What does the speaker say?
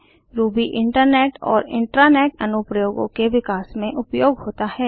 Ruby internet और intranet अनुप्रयोगों के विकास में उपयोग होता है